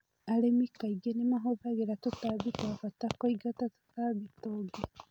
Arĩmi kaingĩ nĩ mahũthagĩra tũtambi twabata kũingata tũtambi tũngĩ.